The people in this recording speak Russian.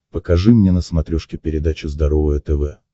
покажи мне на смотрешке передачу здоровое тв